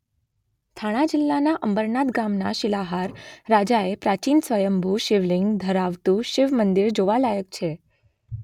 થાણા જિલ્લાના અંબરનાથ ગામમાં શિલાહાર રાજાએ પ્રાચીન સ્વંયભૂ શિવલિંગ ધરાવતું શિવ મંદિર જોવાલાયક છે